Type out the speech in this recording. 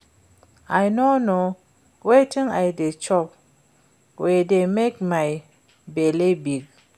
I no know wetin I dey chop wey dey make my bele big